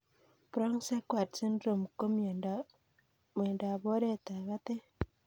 Brown Sequard syndrome ko miondop oret ab patet